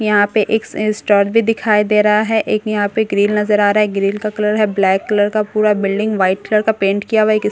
यहां पर एक स स्‍टोर भी दिखाई दे रहा है एक यहां पे ग्रिल नजर आ रहा है ग्रिल का कलर है ब्‍लैक कलर का पूरा बिल्डिंग ब्‍हाईट कलर का पेंट किया हुआ है एक इस --